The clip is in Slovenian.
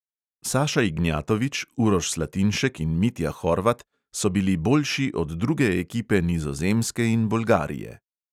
Saša ignjatovič, uroš slatinšek in mitja horvat so bili boljši od druge ekipe nizozemske in bolgarije.